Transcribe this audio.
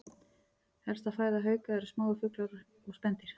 Helsta fæða hauka eru smáir fuglar og spendýr.